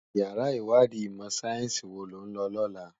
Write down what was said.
Iyàrá iwàdí imò sáyènsí wó ló n lò lòlá